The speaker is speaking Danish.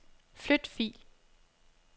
Flyt fil.